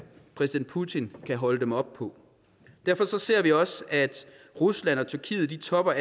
præsident putin kan holde dem op på derfor ser vi også at rusland og tyrkiet topper